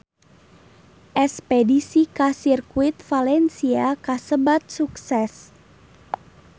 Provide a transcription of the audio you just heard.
Espedisi ka Sirkuit Valencia kasebat sukses